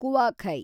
ಕುವಾಖೈ